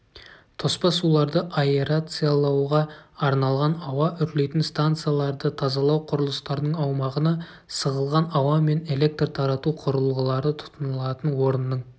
тоспа суларды аэрациялауға арналған ауа үрлейтін станцияларды тазалау құрылыстарының аумағына сығылған ауа мен электр тарату құрылғылары тұтынылатын орынның